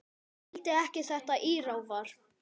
Skildi ekki þetta írafár.